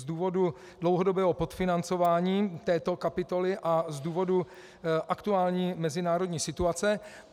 Z důvodu dlouhodobého podfinancování této kapitoly a z důvodu aktuální mezinárodní situace.